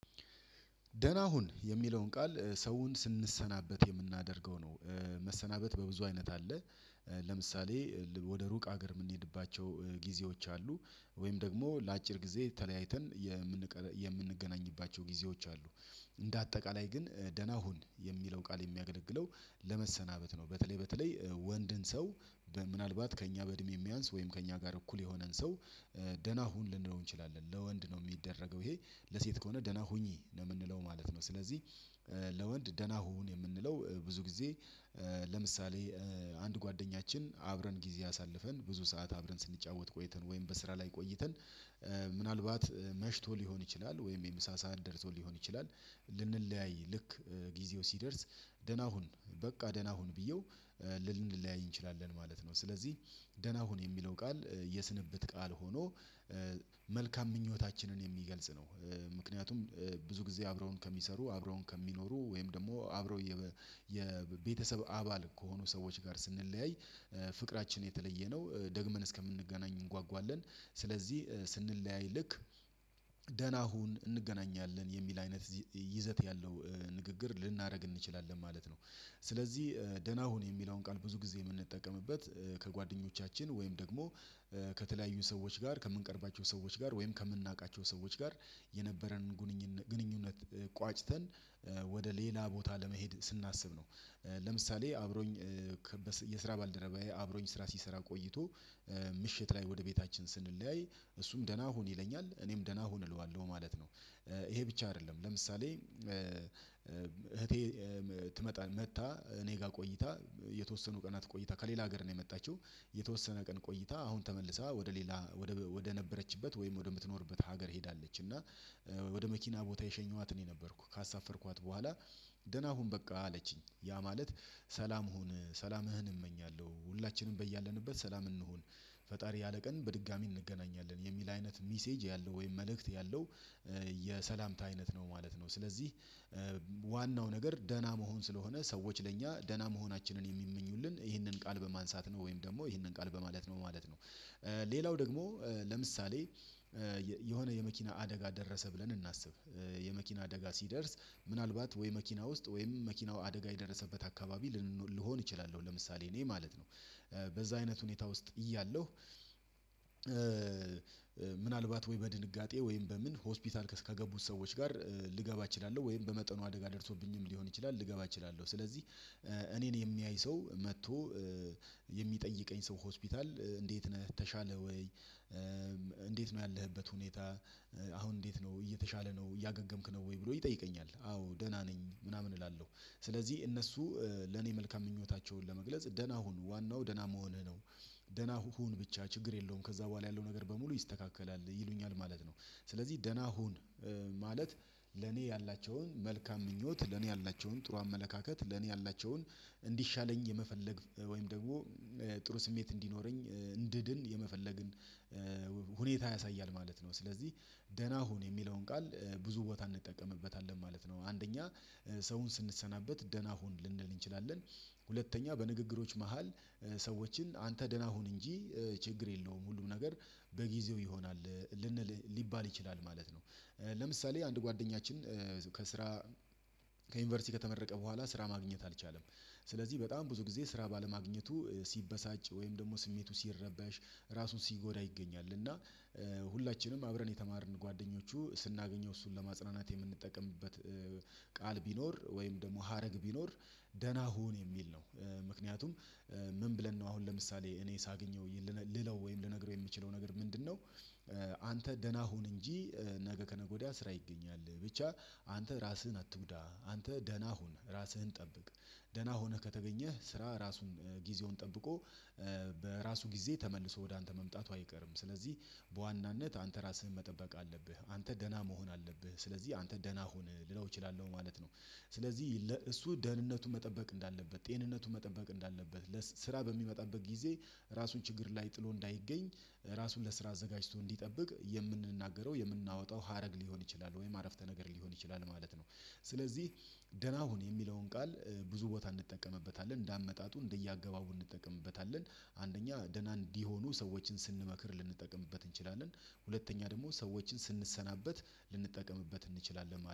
ደህና ሁን የሚለውን ቃል ሰውን ስንሰናበት የምናደርገው ነው። መሰናበት በብዙ አይነት አለ። ለምሳሌ ወደ ሩቅ ሀገር ምንሄድባቸው ጊዜዎች አሉ። ወይም ደግሞ ለአጭር ጊዜ ተለያይተን የምንገናኝባቸው ጊዜዎች አሉ። እንደ አጠቃላይ ግን ደህና ሁን የሚለው ቃል የሚያገለግለው ለመሰናበት ነው። በተለይ በተለይ ወንድን ሰው። ምናልባት ከእኛ በእድሜ ሚያንስ ወይም ከእኛ ጋር እኩል የሆነን ሰው ደህና ሁን ልንለው እንችላለን። ለወንድ ነው ሚደረገው ይሄ። ለሴት ከሆነ ደህና ሁኚ ነው ምንለው ነው። ስለዚህ ለወንድ ደህና ሁን የምንለው ብዙ ጊዜ። ለምሳሌ አንድ ጓደኛችን አብረን ጊዜ አሳልፈን ብዙ ሰዓት አብረን ስንጫወት ቆይተን ወይም በስራ ላይ ቆይተን ምናልባት መሽቶ ሊሆን ይችላል ወይም የምሳ ሳንደርሶ ሊሆን ይችላል። ልንለያይ ልክ ጊዜው ሲደርስ ደህና ሁን በቃ ደህና ሁን ብዬው። ልንለያይ እንችላለን ማለት ነው። ስለዚህ ደህና ሁን የሚለው ቃል የስንብት ቃል ሆኖ መልካም ምኞታችንን የሚገልጽ ነው። ምክንያቱም ብዙ ጊዜ አብረውን ከሚሰሩ አብረውን ከሚኖሩ ወይም ደግሞ አብረው የቤተሰብ አባል ከሆኑ ሰዎች ጋር ስንለያይ ፍቅራችን የተለየ ነው ደግመን እስከምንገናኝ እንጓጓለን። ስለዚህ ስንለያይ ልክ ደህና ሁን እንገናኛለን የሚል አይነት ይዘት ያለው ንግግር ልናደርግ እንችላለን ማለት ነው። ስለዚህ ደህና ሁን የሚለውን ቃል ብዙ ጊዜ ምንጠቀምበት ከጓደኞቻችን ወይም ደግሞ ከተለያዩ ሰዎች ጋር ከምንቀርባቸው ሰዎች ጋር ወይም ከምናውቃቸው ሰዎች ጋር የነበረንን ግንኙነት ቋጭተን ወደ ሌላ ቦታ ለመሄድ ስናስብ ነው። ለምሳሌ አብሮኝ የስራ ባልደረባዬ አብሮኝ ስራ ሲሰራ ቆይቶ ምሽት ላይ ወደ ቤታችን ስንለያይ እሱም ደህና ሁን ይለኛል እኔም ደህና ሁን እለዋለሁ ማለት ነው። ይሄ ብቻ አይደለም ለምሳሌ እህቴ ትመጣ መጥታ እኔ ጋር ቆይታ የተወሰኑ ቀናት ቆይታ ከሌላ ሀገር ነው የመጣችው። የተወሰነ ቀን ቆይታ አሁን ተመልሳ ወደ ሌላ ወደ ነበረችበት ወይም ወደምትኖርበት ሀገር ሄዳለች። እና ወደ መኪና ቦታ የሸኘኋት እኔ የነበርኩ ካሳፈርኳት በኋላ ደህና ሁን በቃ አለችኝ። ያ ማለት ሰላም ሁን ሰላምህን እመኛለሁ ሁላችንም በያለንበት ሰላም እንሁን። ፈጣሪ ያለ ቀን በድጋሚ እንገናኛለን የሚል አይነት ሚሴጅ ያለው ወይም መልእክት ያለው የሰላምታ አይነት ነው ማለት ነው። ስለዚህ ዋናው ነገር ደህና መሆን ስለሆነ ሰዎች ለእኛ ደህና መሆናችንን የሚመኙልን ይህንን ቃል በማንሳት ነው ወይም ደግሞ ይህንን ቃል በማለት ነው ማለት ነው። ሌላው ደግሞ ለምሳሌ የሆነ የመኪና አደጋ ደረሰ ብለን እናስብ። የመኪና አደጋ ሲደርስ ምናልባት ወይ መኪና ውስጥ ወይም መኪናው አደጋ የደረሰበት አካባቢ ልሆን እችላለሁ ለምሳሌ እኔ ማለት ነው በዛ አይነት ሁኔታ ውስጥ እያለሁ። ምናልባት ወይ በድንጋጤ ወይም በምን ሆስፒታል ከገቡት ሰዎች ጋር ልገባ እችላለሁ ወይም በመጠኑ አደርሶብኝም ሊሆን ይችላል ልገባ እችላለሁ ስለዚህ። እኔን የሚያይ ሰው መጥቶ የሚጠይቀኝ ሰው ሆስፒታል እንዴት ነህ ተሻለ ወይ? እንዴት ነው ያለህበት ሁኔታ? አሁን እንዴት ነው እየተሻለ ነው እያገገምክ ነው ወይ ብሎ ይጠይቀኛል። አዎ ደህና ነኝ ምናምን እላለሁ። ስለዚህ እነሱ ለኔ መልካም ምኞታቸውን ለመግለጽ ደህና ሁን ዋናው ደህና መሆንህ ነው። ደህና ሁን ብቻ ችግር የለውም ከዛ በኋላ ያለው ነገር በሙሉ ይስተካከላል ይሉኛል ማለት ነው። ስለዚህ ደህና ሁን። ማለት ለኔ ያላቸውን መልካም ምኞት ለኔ ያላቸውን ጥሩ አመለካከት ለኔ ያላቸውን እንዲሻለኝ የመፈለግ ወይም ደግሞ ጥሩ ስሜት እንዲኖረኝ እንድድን የመፈለግን ሁኔታ ያሳያል ማለት ነው። ስለዚህ ደህና ሁን የሚለውን ቃል ብዙ ቦታ እንጠቀምበታለን ማለት ነው። አንደኛ ሰውን ስንሰናበት ደህና ሁን ልንል እንችላለን። ሁለተኛ በንግግሮች መሃል ሰዎችን አንተ ደህና ሁን እንጂ ችግር የለውም ሁሉም ነገር በጊዜው ይሆናል ልንል ሊባል ይችላል ማለት ነው። ለምሳሌ አንድ ጓደኛችን ከስራ ከዩኒቨርሲቲ ከተመረቀ በኋላ ስራ ማግኘት አልቻለም። ስለዚህ በጣም ብዙ ጊዜ ስራ ባለማግኘቱ ሲበሳጭ ወይም ደግሞ ስሜቱ ሲረባሽ ራሱን ሲጎዳ ይገኛል እና። ሁላችንም አብረን የተማርን ጓደኞቹ ስናገኘው እሱን ለማጽናናት የምንጠቀምበት። ቃል ቢኖር ወይም ደግሞ ሀረግ ቢኖር ደህና ሁን የሚል ነው። ምክንያቱም ምን ብለን ነው አሁን ለምሳሌ እኔ ሳገኘው ልለው ወይም ልነግረው የምችለው ነገር ምንድነው? አንተ ደህና ሁን እንጂ። ነገ ከነገ ወዲያ ስራ ይገኛል ብቻ አንተ ራስህን አትጉዳ አንተ ደህና ሁን ራስህን ጠብቅ። ደህና ሆነህ ከተገኘህ ስራ ራሱን ጊዜውን ጠብቆ በራሱ ጊዜ ተመልሶ ወደ አንተ መምጣቱ አይቀርም። ስለዚህ በዋናነት አንተ ራስህን መጠበቅ አለብህ አንተ ደህና መሆን አለብህ ስለዚህ አንተ ደህና ሁን ልለው እችላለሁ ማለት ነው። ስለዚህ እሱ ደህንነቱን መጠበቅ እንዳለበት ጤንነቱን መጠበቅ እንዳለበት ለስራ በሚመጣበት ጊዜ ራሱን ችግር ላይ ጥሎ እንዳይገኝ ራሱን ለስራ አዘጋጅቶ እንዲጠብቅ የምንናገረው የምናወጣው ሀረግ ሊሆን ይችላል ወይም አረፍተ ነገር ሊሆን ይችላል ማለት ነው። ስለዚህ ደህና ሁን የሚለውን ቃል ብዙ ቦታ እንጠቀምበታለን እንደ አመጣጡ እንደየአገባቡ እንጠቀምበታለን። አንደኛ ደህና እንዲሆኑ ሰዎችን ስንመክር ልንጠቀምበት እንችላለን። ሁለተኛ ደግሞ ሰዎችን ስንሰናበት ልንጠቀምበት እንችላለን